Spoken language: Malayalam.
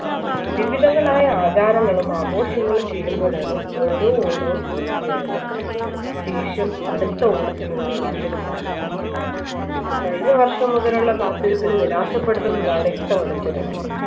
വിവിധങ്ങളായാ ആചാരങ്ങളും ആഘോഷങ്ങളും ചേരുമ്പോഴാണ് ഓരോ ഓണവും പൂർത്തിയാക്കുന്നത് ശേഷം അടുത്ത ഓണത്തിനുള്ള കാത്തിരിപ്പാണ് കഴിഞ്ഞവർഷം മുതലുള്ള കാത്തിരിപ്പിന് നിരാശപ്പെടുത്തുന്നതാണ് ഇത്തവണത്തെ ഓണം